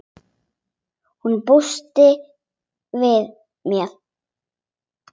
Hún búist við mér.